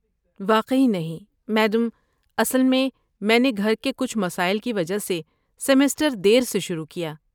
واقعی نہیں، میڈم، اصل میں، میں نے گھر کے کچھ مسائل کی وجہ سے سیمسٹر دیر سے شروع کیا۔